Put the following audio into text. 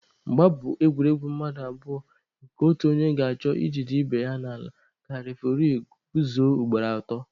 Mgba bụ egwuregwu mmadụ abụọ nke otu onye ga-achọ i jide ibe ya n'ala ka refuri guzuo ugboro atọ.